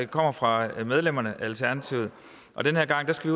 kommer fra medlemmerne af alternativet og den her gang skal